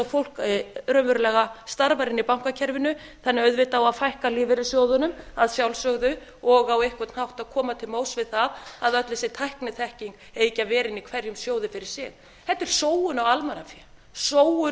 fólk raunverulega starfar inni í bankakerfinu þannig að auðvitað á að fækka lífeyrissjóðunum að sjálfsögðu og á einhvern hátt að koma til móti við það að öll þessi tækniþekking eigi ekki að vera inni í hverjum sjóði fyrir sig þetta er sóun